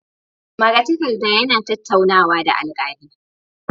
Magatakarda yana tattaunawa da alkali